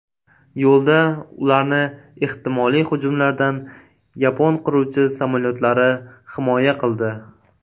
Yo‘lda ularni ehtimoliy hujumlardan yapon qiruvchi samolyotlari himoya qildi.